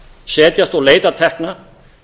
setjast og leita tekna